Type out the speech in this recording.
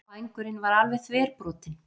Vængurinn var alveg þverbrotinn